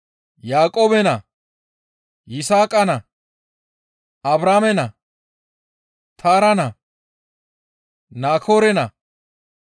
Yaaqoobe naa, Yisaaqa naa, Abrahaame naa, Taara naa, Naakoore naa,